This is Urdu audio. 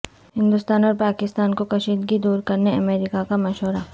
ہندوستان اور پاکستان کو کشیدگی دور کرنے امریکہ کا مشورہ